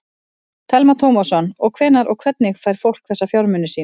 Telma Tómasson: Og hvenær og hvernig fær fólk þessa fjármuni sína?